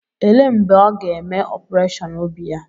Elee mgbe ọ ga-eme opureshọn obi ya.